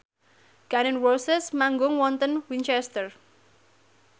Gun n Roses manggung wonten Winchester